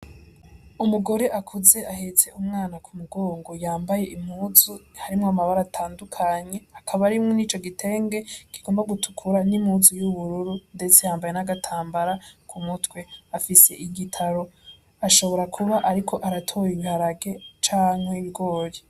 Umugore akuze ahetse umwana ku mugongo. Yambaye impuzu harimwo amabara atandukanye; akaba ari muri ico gitenge kigomba gutukura n'impuzu y'ubururu. Ndetse yambaye n'agatambara ku mutwe. Afise igitaro, ashobora kuba ariko aratora ibiharage canke ibigori.